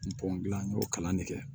gilan n y'o kalan de kɛ